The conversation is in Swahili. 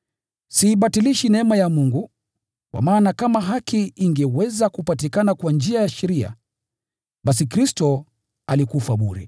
Siibatilishi neema ya Mungu, kwa maana kama haki ingeweza kupatikana kwa njia ya sheria, basi Kristo alikufa bure!”